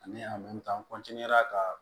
Ani a ka